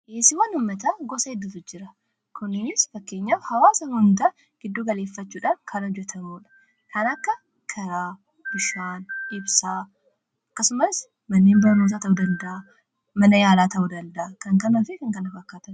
Dhiyeessiiwwan uummataa gosa hedduutu jira. Kunis fakkeenyaaf hawaasa hundaa giddu galeeffachuudhaan kan hojjetamudha. Kan akka Karaa, Bishaan, Ibsaa akkasumas manneen barnootaa ta'uu danda'a. Mana yaalaa ta'uu danda'a. Kan kanaafi kana fakkaatani.